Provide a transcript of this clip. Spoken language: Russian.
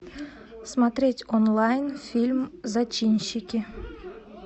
смотреть онлайн фильм зачинщики